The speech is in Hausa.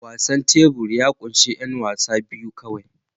Wasan tebur ya ƙunshi 'yan wasa biyu kawai